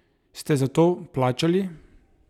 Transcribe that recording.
Ste za to plačali?